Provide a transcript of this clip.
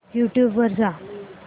YouTube वर जा